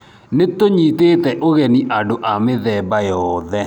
Nĩtũnyiitĩte ũgenĩ andũ a mĩthemba yoothe.